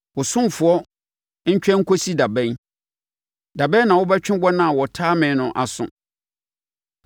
Wo ɔsomfoɔ ntwɛn nkɔsi da bɛn? Da bɛn na wobɛtwe wɔn a wɔtaa me no aso?